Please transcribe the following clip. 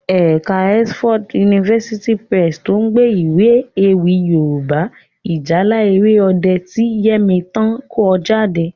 Ẹ̀ka Oxford University Press lo gbé Iwé ewì Yorùbá 'Ìjálá Èrè Ọdẹ' ti Yẹmítán ko jade